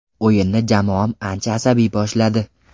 O‘yinni jamoam ancha asabiy boshladi.